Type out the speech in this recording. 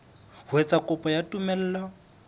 ho etsa kopo ya tumello